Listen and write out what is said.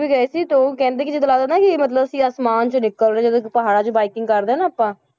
ਵੀ ਗਏ ਸੀ ਤੇੇ ਉਹ ਕਹਿੰਦੇ ਕਿ ਏਦਾਂ ਲੱਗਦਾ ਨਾ ਕਿ ਮਤਲਬ ਅਸੀਂ ਆਸਮਾਨ ਚੋਂ ਨਿਕਲ ਰਹੇ ਜਦੋਂ ਪਹਾੜਾਂ 'ਚ biking ਕਰਦੇ ਹਾਂ ਨਾ ਆਪਾਂ।